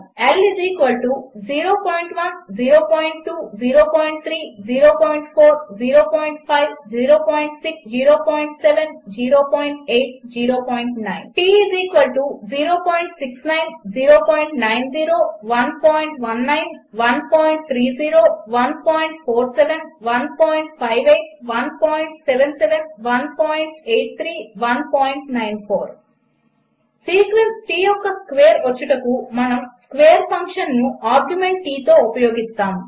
L 01 02 03 04 0506 07 08 09 T 069 090 119130 147 158 177 183 194 sequence T యొక్క square వచ్చుటకు మనము స్వ్కేర్ ఫంక్షన్ను ఆర్గ్యుమెంట్ T తో ఉపయోగిస్తాము